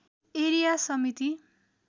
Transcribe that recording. area समिति